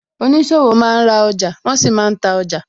Oníṣòwò máa ń ra ọjà, wọn sì máa ń ta ọjà